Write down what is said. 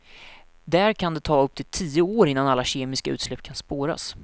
Där kan det ta upp till tio år innan alla kemiska utsläpp kan spåras.